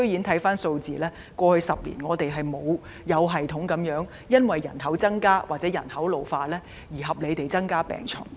從數字看，過去10年，醫管局居然沒有因應人口增加或人口老化而有系統及合理地增加病床。